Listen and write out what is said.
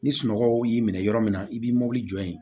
Ni sunɔgɔw y'i minɛ yɔrɔ min na i b'i mɔbili jɔ yen